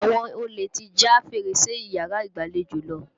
Àwọn olè ti já fèrèsé yàrá ìgbàlejò.